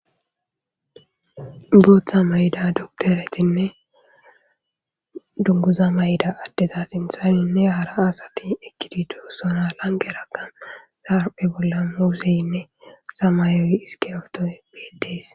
Booththa mayida dokteretinne dunguza mayda addeza sinthaninne hara asati ekkidi duossona lange ragga naarphe bolla museynne samayoy iskiroftoy beedees.